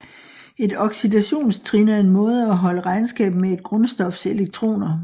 Et oxidationstrin er en måde at holde regnskab med et grundstofs elektroner